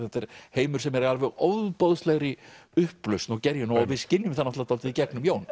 heimur sem er í alveg ofboðslegri upplausn og gerjun og við skynjum það dálítið í gegnum Jón